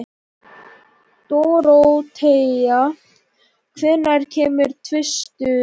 Dorothea, hvenær kemur tvisturinn?